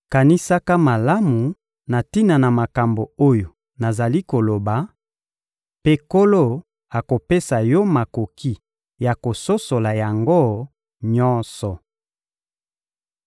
Kanisaka malamu na tina na makambo oyo nazali koloba, mpe Nkolo akopesa yo makoki ya kososola yango nyonso.